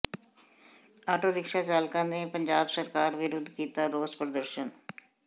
auto rickshaw ਚਾਲਕਾਂ ਨੇ ਪੰਜਾਬ ਸਰਕਾਰ ਵਿਰੁਧ ਕੀਤਾ ਰੋਸ ਪ੍ਰਦਰਸ਼ਨ